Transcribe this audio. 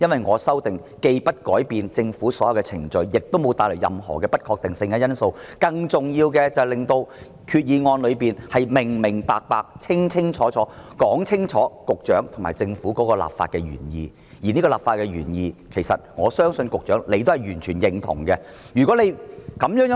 我的修訂議案既沒有改變政府的任何程序，亦沒有帶來任何不確定的因素，更重要的是令決議案清楚表明局長及政府的立法原意，而我相信局長是完全認同這個立法原意的。